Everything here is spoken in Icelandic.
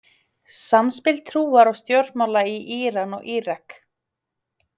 Samspil trúar og stjórnmála í Íran og Írak.